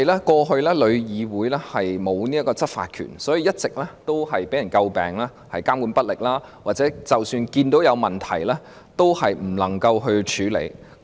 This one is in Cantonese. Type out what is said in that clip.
過去旅議會沒有執法權，因而一直被人詬病監管不力，或即使看到有問題，也無法處理。